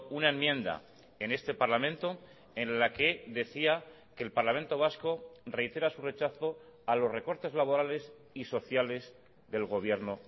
una enmienda en este parlamento en la que decía que el parlamento vasco reitera su rechazo a los recortes laborales y sociales del gobierno